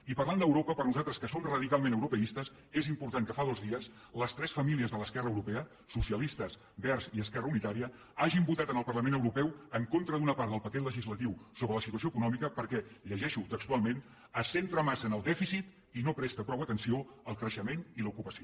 i parlant d’europa per a nosaltres que som radicalment europeistes és important que fa dos dies les tres famílies de l’esquerra europea socialistes verds i esquerra unitària hagin votat en el parlament europeu en contra d’una part del paquet legislatiu sobre la situació econòmica perquè ho llegeixo textualment se centra massa en el dèficit i no presta prou atenció al creixement i a l’ocupació